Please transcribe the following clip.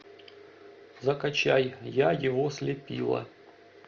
закачай я его слепила